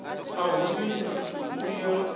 a u humisa mbuyelo o